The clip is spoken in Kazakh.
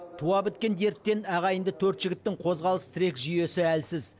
туа біткен дерттен ағайынды төрт жігіттің қозғалыс тірек жүйесі әлсіз